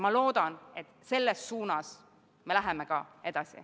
Ma loodan, et selles suunas me läheme ka edasi.